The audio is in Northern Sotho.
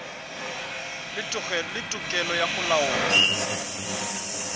le tokelo ya go laola